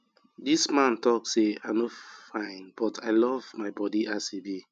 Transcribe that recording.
dis man talk say i no fine but i love my body as e be